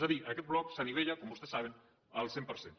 és a dir aquest bloc s’anivella com vostès saben al cent per cent